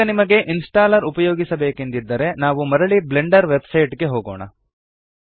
ಈಗ ನಿಮಗೆ ಇನ್ಸ್ಟಾಲ್ಲರ್ ಉಪಯೋಗಿಸಬೇಕೆಂದಿದ್ದರೆ ನಾವು ಮರಳಿ ಬ್ಲೆಂಡರ್ ವೆಬ್ಸೈಟ್ ಗೆ ಹೋಗೋಣ